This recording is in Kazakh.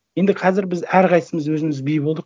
енді қазір біз әрқайсысымыз өзіміз би болдық